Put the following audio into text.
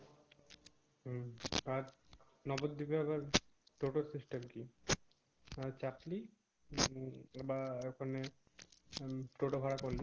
আর নগর ডিপে আবার টোটো সিস্টেম কি না হয় চাকরি বা ওখানে টোটো ভাড়া করলি